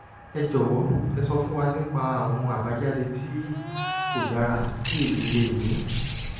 ẹ jọwọ ẹ sọ fún wa nípa àwọn àbájáde tí kò dára tí èyí lè ní